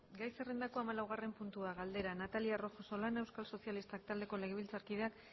gai zerrendako hamalaugarren puntua galdera natalia rojo solana euskal sozialistak taldeko legebiltzarkideak